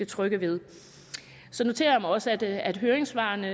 trygge ved så noterer jeg mig også at at høringssvarene